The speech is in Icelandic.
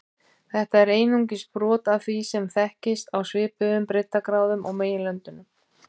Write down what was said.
Þetta er einungis brot af því sem þekkist á svipuðum breiddargráðum á meginlöndunum.